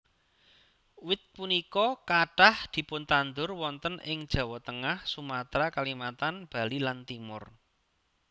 Wit punika kathah dipuntandhur wonten ing Jawa Tengah Sumatra Kalimantan Bali lanTimor